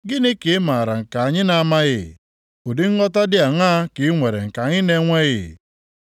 Gịnị ka ị maara nke anyị na-amaghị? Ụdị nghọta dị aṅaa ka i nwere nke anyị na-enweghị?